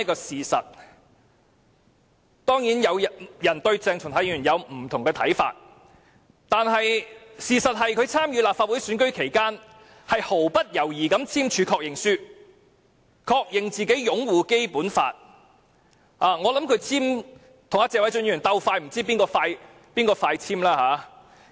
誠然，有人對鄭松泰議員或有不同看法，但我想點出一個事實，就是在參選立法會選舉期間，他毫不猶豫地簽署確認書，確認自己擁護《基本法》——如與謝偉俊議員相比，也不知究竟誰更早簽署確認書。